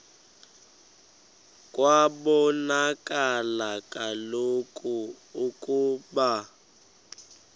kwabonakala kaloku ukuba